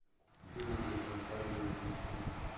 фильм где том харди заключенный